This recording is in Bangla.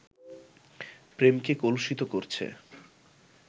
প্রেমকে কলুষিত করছে